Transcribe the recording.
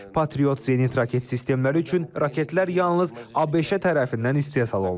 Patriot Zenit raket sistemləri üçün raketlər yalnız ABŞ tərəfindən istehsal olunur.